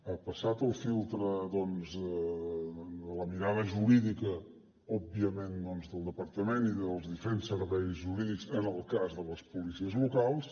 ha passat el filtre doncs de la mirada jurídica òbviament doncs del departament i dels diferents serveis jurídics en el cas de les policies locals